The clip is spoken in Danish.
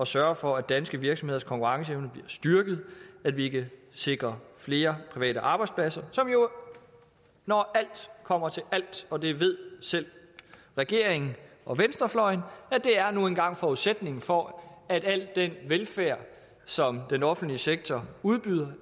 sørge for at danske virksomheders konkurrenceevne bliver styrket at vi kan sikre flere private arbejdspladser som jo når alt kommer til alt og det ved selv regeringen og venstrefløjen nu engang er forudsætningen for at al den velfærd som den offentlige sektor udbyder